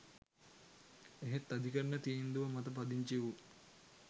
එහෙත් අධිකරණ තීන්දුව මත පදිංචි වූ